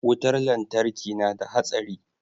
wutar lantarki nada hatsari